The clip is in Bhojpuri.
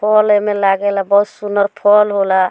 फल एमें लागे ला बहुत सुन्दर फल होला।